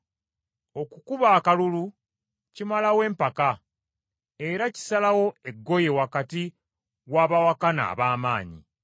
Okukuba akalulu kimalawo empaka, era kisalawo eggoye wakati w’abawakana ab’amaanyi.